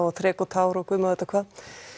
þrek og tár og guð má vita hvað